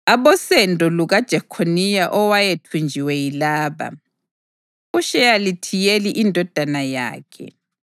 Abosendo lukaJekhoniya owayethunjiwe yilaba: uSheyalithiyeli indodana yakhe,